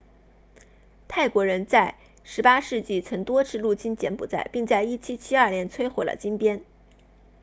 泰国人在18世纪曾多次入侵柬埔寨并在1772年摧毁了金边